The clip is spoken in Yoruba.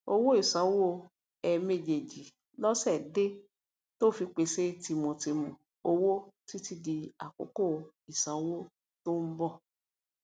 owó ìsanwó ẹẹmejìméjì lósè dé tó fi pèsè tìmùtìmù owó títí di àkókò ìsanwó tó ń bọ